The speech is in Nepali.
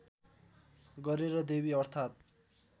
गरेर देवी अर्थात्